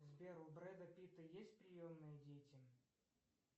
сбер у бреда питта есть приемные дети